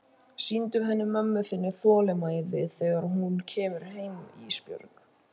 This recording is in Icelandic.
Sýndu henni mömmu þinni þolinmæði þegar hún kemur heim Ísbjörg.